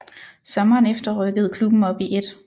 Sommeren efter rykkede klubben op i 1